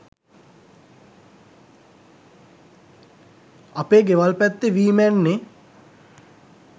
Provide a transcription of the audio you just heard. අපේ ගෙවල් පැත්තෙ වී මැන්නෙ